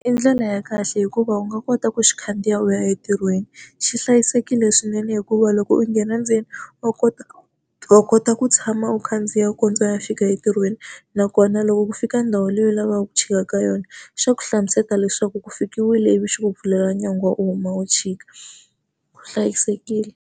I ndlela ya kahle hikuva u nga kota ku xi khandziya u ya entirhweni. Xi hlayisekile swinene hikuva loko u nghena ndzeni, wa kota wa kota ku tshama u khandziya u kondza u ya fika entirhweni. Nakona loko ku fika ndhawu leyi u lavaka ku chika ka yona, xa ku hlamusela leswaku ku fikile ivi xi ku pfulela nyangwa u huma u tshika u hlayisekile.